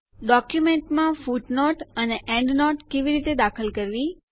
ડોક્યુંમેન્ટોમાં footnote અને endnote કેવી રીતે દાખલ કરવી